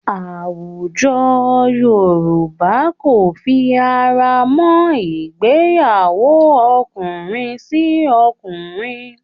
Àwùjọ Yorùbá kò fi ara mọ́ ìgbéyàwó ọkùnrin sí ọkùnrin